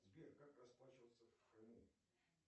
сбер как расплачиваться в крыму